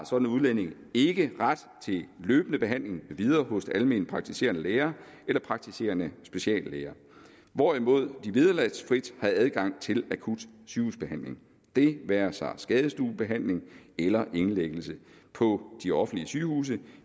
sådan udlænding ikke ret til løbende behandling med videre hos almenpraktiserende læger eller praktiserende speciallæger hvorimod de vederlagsfrit har adgang til akut sygehusbehandling det være sig skadestuebehandling eller indlæggelse på de offentlige sygehuse